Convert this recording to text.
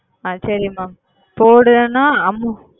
அது செரிமா எவ்ளோ நாளாகி